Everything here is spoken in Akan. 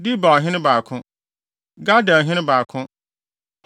Debirhene 2 baako 1 Gaderhene 2 baako 1